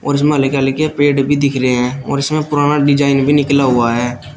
और उसमें हल्के-हल्के पेड़ भी दिख रहे हैं और उसमें पुराना डिजाइन भी निकला हुआ है।